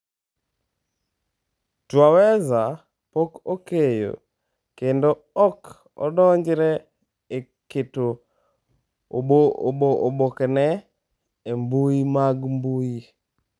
Twaweza pok okeyo, kendo ok odonjore e keto obokeno e mbui mag mbui.